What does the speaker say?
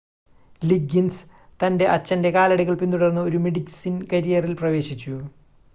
Liggins തൻ്റെ അച്ഛൻ്റെ കാലടികൾ പിന്തുടർന്ന് ഒരു മെഡിസിൻ കരിയറിൽ പ്രവേശിച്ചു